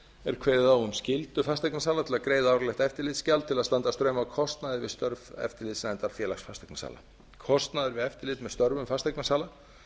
er kveðið á um skyldu fasteignasala til að greiða árlegt eftirlitsgjald til að standa straum af kostnaði við störf eftirlitsnefndar félags fasteignasala kostnaður við eftirlit með störfum fasteignasala